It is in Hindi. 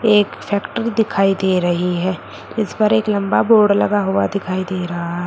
एक फैक्ट्री दिखाई दे रही है इस पर एक लंबा बोर्ड लगा हुआ दिखाइ दे रहा है।